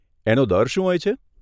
એનો દર શું હોય છે?